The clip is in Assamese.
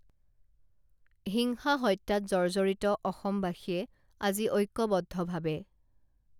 হিংসা হত্যাত জৰ্জৰিত অসমবাসীয়ে আজি ঐক্যবদ্ধভাৱে